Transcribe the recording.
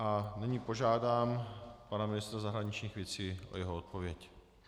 A nyní požádám pana ministra zahraničních věcí o jeho odpověď.